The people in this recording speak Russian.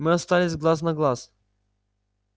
мы остались глаз на глаз